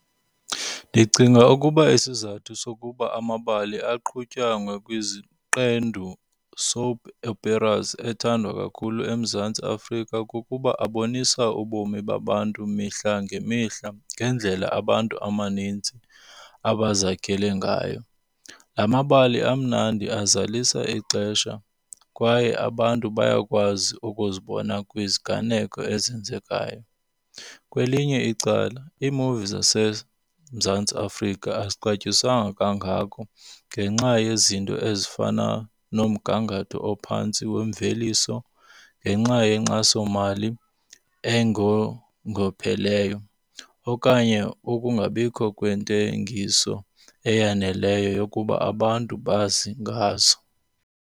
Ndicinga ukuba isizathu sokuba amabali aqhutywa ngokweziqendu, soap operas, ethandwa kakhulu eMzantsi Afrika kukuba abonisa ubomi babantu mihla ngemihla ngendlela abantu amanintsi abazakhele ngayo. La mabali amnandi, azalisa ixesha kwaye abantu bayakwazi ukuzibona kwiziganeko ezenzekayo. Kwelinye icala iimuvi zaseMzantsi Afrika azixatyiswanga kangako ngenxa yezinto ezifana nomgangatho ophantsi wemveliso ngenxa yenkxasomali engongopheleyo okanye ukungabikho kwentengiso eyaneleyo yokuba abantu bazi ngazo.